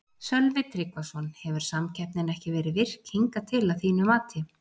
Sölvi Tryggvason: Hefur samkeppnin ekki verið virk hingað til að þínu mati?